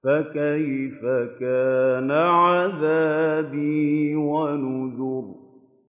فَكَيْفَ كَانَ عَذَابِي وَنُذُرِ